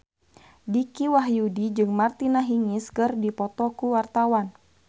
Dicky Wahyudi jeung Martina Hingis keur dipoto ku wartawan